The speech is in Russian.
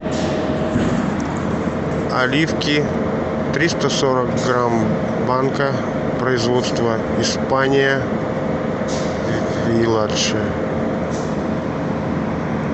оливки триста сорок грамм банка производство испания виладже